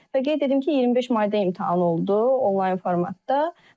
Və qeyd edim ki, 25 mayda imtahan oldu onlayn formatda.